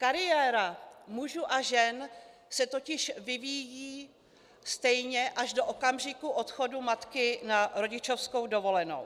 Kariéra mužů a žen se totiž vyvíjí stejně až do okamžiku odchodu matky na rodičovskou dovolenou.